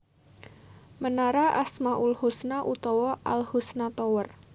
Menara Asmaul Husna utawa Al Husna Tower